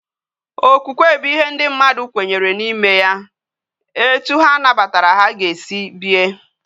Okwukwe bu ihe ndi mmadu kwenyere na ime ya. Etu ha nabatara ha ga esi bie